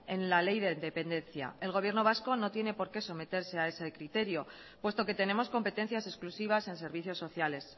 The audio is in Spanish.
en la ley de dependencia el gobierno vasco no tiene por qué someterse a ese criterio puesto que tenemos competencias exclusivas en servicios sociales